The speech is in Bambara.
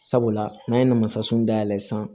Sabula n'an ye namasasun dayɛlɛ san